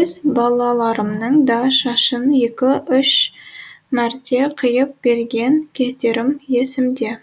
өз балаларымның да шашын екі үш мәрте қиып берген кездерім есімде